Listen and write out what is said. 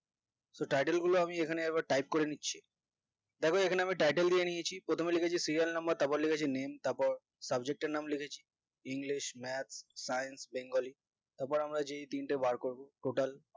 তো title গুলা আমি এখানে একবার type করে নিচ্ছি দ্যাখো এখানে আমি title দিয়ে নিয়েছি প্রথমে লিখেছি serial number তারপর লিখেছি name তারপর subject এর নাম লিখেছি English math science bengali তারপর আমরা যেই তিনটে বের করবো total